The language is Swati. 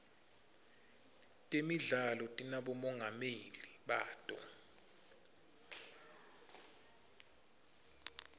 temidlalo tinabomongameli bato